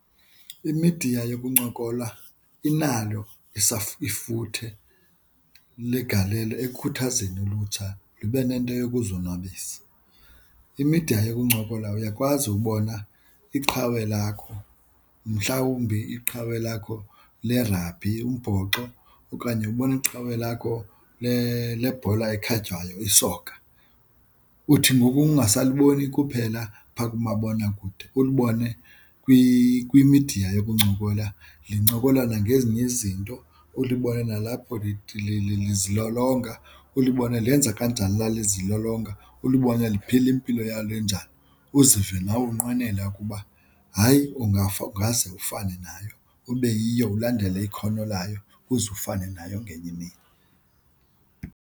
Imidiya yokuncokola inalo ifuthe legalelo ekukhuthazeni ulutsha lube nento yokuzonwabisa. Imidiya yokuncokola uyakwazi ubona iqhawe lakho, mhlawumbi iqhawe lakho lerabhi, umbhoxo okanye ubone iqhawe lakho lebhola ekhatywayo isoka. Uthi ngoku ungasaliboni kuphela phaa kumabonakude ulibone kwimidiya yokuncokola lincokola nangezinye izinto ulibone nalapho lithile lizilolonga ulibone lenza kanjani la lizilolonga. Ulibone liphila impilo yalo enjani uzive nawe unqwenela ukuba hayi ungaze ufane nayo ube yiyo ulandele ikhono layo ukuze ufane nayo ngenye imini.